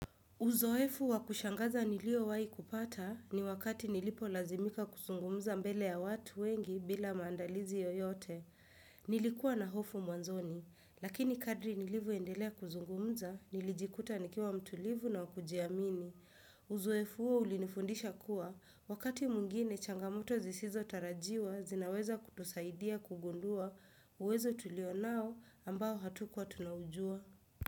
Uzoefu wakushangaza nilio wai kupata ni wakati nilipo lazimika kuzungumza mbele ya watu wengi bila maandalizi yoyote. Nilikuwa na hofu mwanzoni, lakini kadri nilivyo endelea kuzungumza, nilijikuta nikiwa mtulivu na wakujiamini. Uzoefu huo ulinifundisha kuwa, wakati mwingine changamoto zisizo tarajiwa, zinaweza kutusaidia kugundua uwezo tulio nao ambao hatukuwa tunaujua.